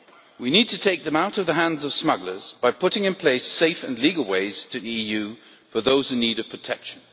We need to take them out of the hands of smugglers by putting in place safe and legal ways to the EU for those in need of protection.